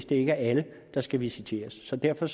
det er alle der skal visiteres derfor